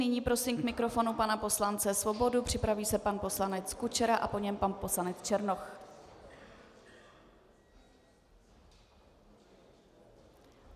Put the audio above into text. Nyní prosím k mikrofonu pana poslance Svobodu, připraví se pan poslanec Kučera a po něm pan poslanec Černoch.